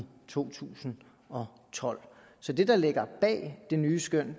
to tusind og tolv ministeren